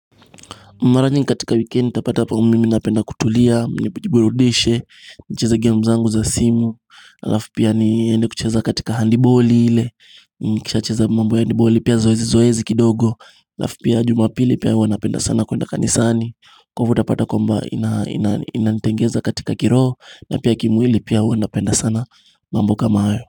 Mara nyingi katika wikendi utapata mimi napenda kutulia, nijiburudishe, nicheze gemu zangu za simu, alaf pia niende kucheza katika handiboli ile, nikisha cheza mambo handiboli pia zoezi zoezi kidogo, alaf pia jumapili pia huwanapenda sana kuenda kanisani, kwa ivo utapata kwamba inantengeza katika kiroho, na pia kimwili pia huwanapenda sana mambo kama hayo.